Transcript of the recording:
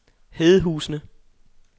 Hedehusene